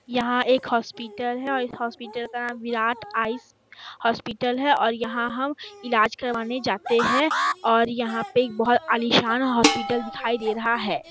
यहाँ एक हॉस्पिटल है और हॉस्पिटल में विराट आइस हॉस्पिटल है और यहाँ हम इलाज करवाने जाते है और यहाँ पे एक बहुत एलिसन हॉस्पिटल दिखाई दे रहा है।